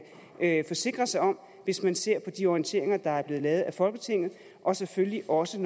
kan forsikre sig om hvis man ser på de orienteringer der er blevet lavet af folketinget og selvfølgelig også